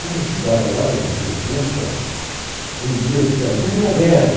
Como eu estudava lá na rua Augusta, um dia disseram, terminou a guerra.